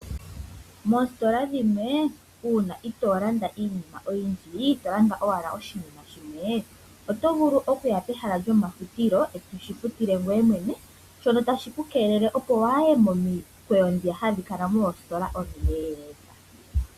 Moositola dhimwe uuna itoo landa iinima oyindji, to landa owala oshinima shimwe, oto vulu okuya pehala lyomafutilo ee to shi futile ngoye mwene, shono tas hi ku keelele opo kuuye momikweyo dhoka ha dhi kala moositola omileleka.